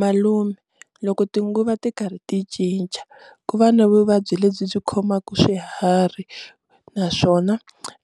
Malume loko tinguva ti karhi ti cinca ku va na vuvabyi lebyi byi khomaka swiharhi naswona